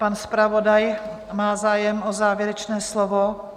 Pan zpravodaj má zájem o závěrečné slovo.